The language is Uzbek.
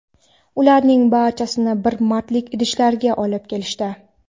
Ularning barchasini bir martalik idishlarda olib kelishdi.